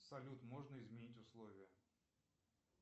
салют можно изменить условия